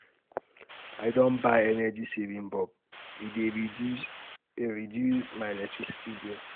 I don buy energy-saving um bulb, e um dey um reduce um reduce my electricity bill.